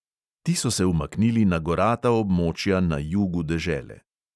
Ti so se umaknili na gorata območja na jugu dežele.